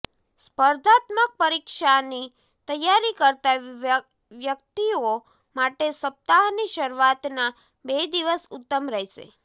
સ્પર્ધાત્મક પરીક્ષાની તૈયારી કરતા વ્યક્તિઓ માટે સપ્તાહની શરુઆતના બે દિવસ ઉત્તમ રહેશે